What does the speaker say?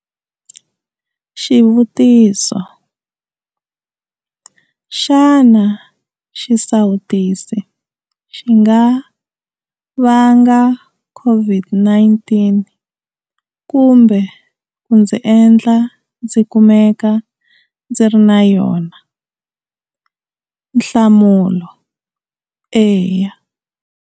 Xivutiso- Xana xisawutisi xi nga vanga COVID-19 kumbe ku ndzi endla ndzi kumeka ndzi ri na yona? Nhlamulo- Eya.